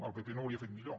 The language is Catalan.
el pp no ho hauria fet millor